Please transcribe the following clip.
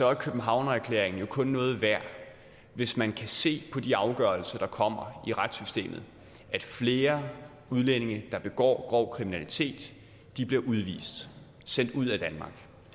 er københavnererklæringen jo kun noget værd hvis man kan se på de afgørelser der kommer i retssystemet at flere udlændinge der begår grov kriminalitet bliver udvist sendt ud af danmark